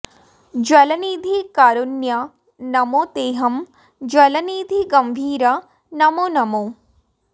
जलनिधि कारुण्य नमो तेहं जलनिधि गम्भीर नमो नमो